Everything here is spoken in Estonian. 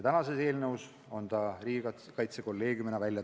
Tänases eelnõus on ta välja toodud riigikaitsekolleegiumina.